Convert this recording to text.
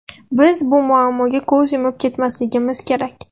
Biz bu muammoga ko‘z yumib ketmasligimiz kerak.